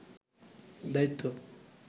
দায়িত্ব